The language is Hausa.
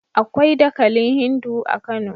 Akwai dakalin Hindu a Kano.